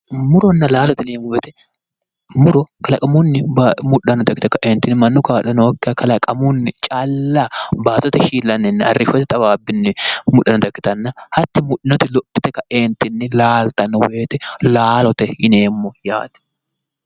Muronna laalo yineemo woyite muro kalaqamunni mudhanota ikkite kaeenittinni mannu kaa'lo nookiha kalaqamunni calla baattote shiillaniniinna arishote xawaabbinni mudhanoya ikkitana hati mudhinoti lophite kaeenittinni laalitanno woyite laalote yineemo yaate